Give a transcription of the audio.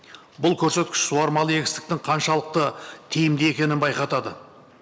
бұл көрсеткіш суармалы егістіктің қаншалықты тиімді екенін байқатады